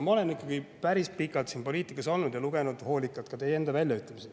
Ma olen ikkagi päris pikalt poliitikas olnud ja lugenud hoolikalt ka teie enda väljaütlemisi.